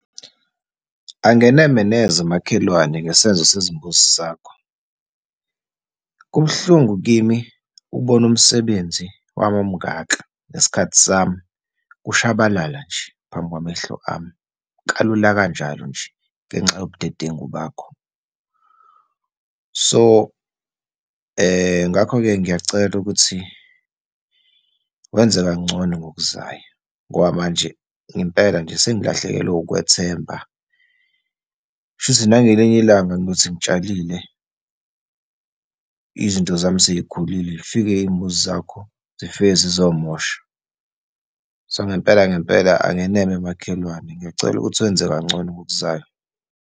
Angeneme neze makhelwane ngesenzo sezimbuzi sakho. Kubuhlungu kimi ukubona umsebenzi wami omungaka, nesikhathi sami, kushabalala nje phambi kwamehlo ami, kalula kanjalo nje, ngenxa yobudedengu bakho. So, ngakho-ke ngiyacela ukuthi wenze kangcono ngokuzayo ngoba manje ngempela nje sengilahlekelwe ukukwethemba. Shuthi nangelinye ilanga ngothi ngitshalile, izinto zami sey'khulile, zifike iy'mbuzi zakho, zifike zizomosha. So, ngempela ngempela angeneme makhelwane. Ngiyacela ukuthi wenze kangcono ngokuzayo.